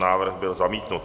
Návrh byl zamítnut.